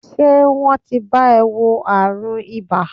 Ṣé wọ́n ti bá e wo àrùn ibà?